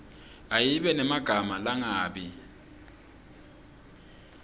ayibe nemagama langabi